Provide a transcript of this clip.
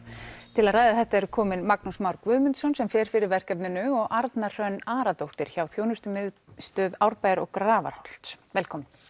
til að ræða þetta eru komin Magnús Már Guðmundsson sem fer fyrir verkefninu og Arna Hrönn Aradóttir hjá þjónustumiðstöð Árbæjar og Grafarholts velkomin